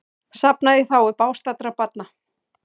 Safnað í þágu bágstaddra barna